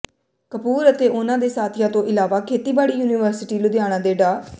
ਕਪੂਰ ਅਤੇ ਉਨ੍ਹਾਂ ਦੇ ਸਾਥੀਆਂ ਤੋਂ ਇਲਾਵਾ ਖੇਤੀਬਾੜੀ ਯੂਨੀਵਰਸਿਟੀ ਲੁਧਿਆਣਾ ਦੇ ਡਾ